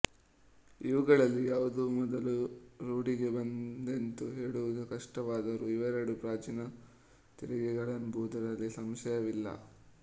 ಇವುಗಳಲ್ಲಿ ಯಾವುದು ಮೊದಲು ರೂಢಿಗೆ ಬಂತೆಂದು ಹೇಳುವುದು ಕಷ್ಟವಾದರೂ ಇವೆರಡೂ ಪ್ರಾಚೀನ ತೆರಿಗೆಗಳೆಂಬುದರಲ್ಲಿ ಸಂಶಯವಿಲ್ಲ